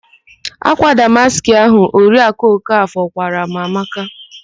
Ákwà damaskị ahụ Oriakụ Okafọ kwaara m amaka.